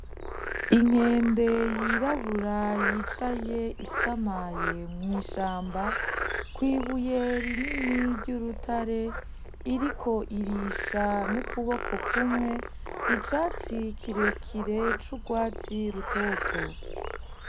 Inkende y'irabura yicaye isamaye mw'ishamba kw'ibuye rinini ry'urutare, iriko irisha n'ukuboko kumwe ivatsi kirekire c'urwatsi rutoto.